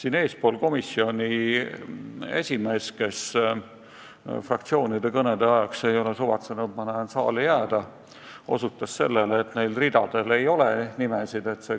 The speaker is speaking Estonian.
Ma näen, et komisjoni esimees ei ole suvatsenud fraktsioonide kõnede ajaks saali jääda, aga enne ta osutas sellele, et neil ridadel ei ole nimesid kirjas.